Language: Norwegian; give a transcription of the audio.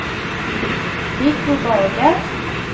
Viggo Borge